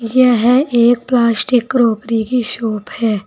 यह एक plastic crockery की शॉप है।